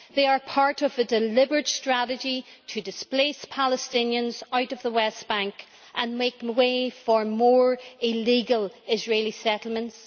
They are part of a deliberate strategy to displace Palestinians out of the West Bank and make way for illegal Israeli settlements.